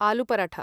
Allu paratha